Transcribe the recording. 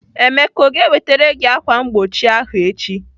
Emeka ọ ga-ewetere gị ákwà mgbochi ahụ echi?